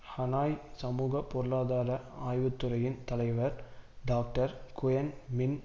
Hanoi சமூக பொருளாதார ஆய்வுத்துறையின் தலைவர் டாக்டர் குயென் மின்